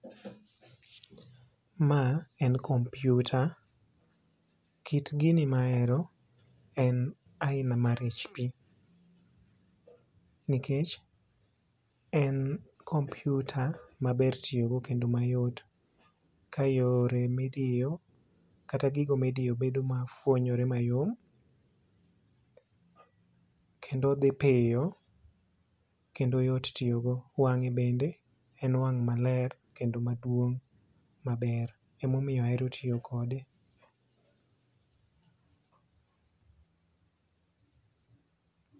Ma en kompiuta. Kit gini mahero en aina mar HP, nikech en kompiuta maber tiyogo kendo mayot ka yore midiyo kata gogo midiyo fuonyore mayom kendo dhi piyo kendo yot tiyogo. Wang'e bende en wang' maler kendo maduong' maber emomiyo ahero tiyo kode.